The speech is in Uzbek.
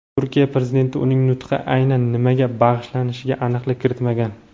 Turkiya Prezidenti uning nutqi aynan nimaga bag‘ishlanishiga aniqlik kiritmagan.